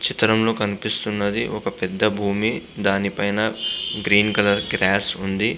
చిత్రం లో కనిపిస్తున్నది ఒక పెద్ద భూమి .దాని పైనగ్రీన్ కలర్ గ్రాస్ ఉంది.